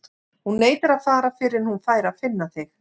Hún neitar að fara fyrr en hún fær að finna þig.